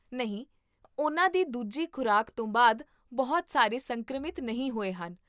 ਨਹੀਂ, ਉਨ੍ਹਾਂ ਦੀ ਦੂਜੀ ਖ਼ੁਰਾਕ ਤੋਂ ਬਾਅਦ ਬਹੁਤ ਸਾਰੇ ਸੰਕਰਮਿਤ ਨਹੀਂ ਹੋਏ ਹਨ